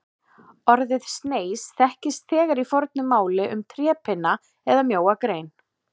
Orðið sneis þekkist þegar í fornu máli um trépinna eða mjóa grein.